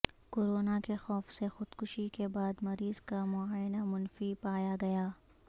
corona کے خوف سے خودکشی کے بعد مریض کا معائنہ منفی پایا گیا